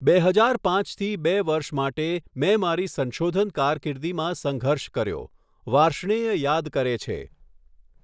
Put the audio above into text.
બે હજાર પાંચથી બે વર્ષ માટે, મેં મારી સંશોધન કારકીર્દિમાં સંઘર્ષ કર્યો, વાર્ષ્ણેય યાદ કરે છે.